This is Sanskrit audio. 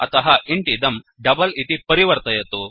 अतः इन्ट् इदं डबल इति परिवर्तयतु